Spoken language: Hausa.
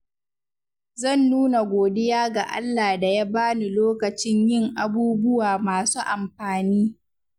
Zan nuna godiya ga Allah da ya bani lokacin yin abubuwa masu amfani.